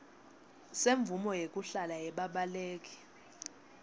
semvumo yekuhlala yebabaleki